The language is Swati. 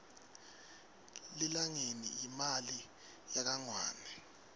lilangeni yimali yakangwane